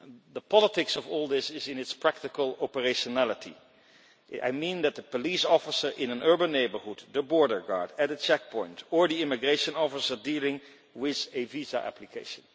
The politics of all this is in its practical operationality I mean the police officer in an urban neighbourhood, the border guard at a checkpoint or the immigration officer dealing with a visa application.